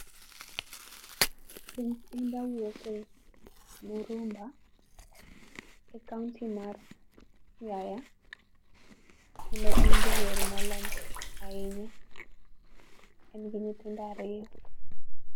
Prince Indah wuok e, Murumba e kaunti mar, Siaya, kendo en jawer molony ahinya. En gi nyithindo ariyo